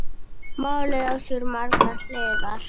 Málið á sér margar hliðar.